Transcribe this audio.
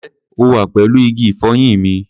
Ǹjẹ́ o wà pẹ̀lú igi ìfọyín mi?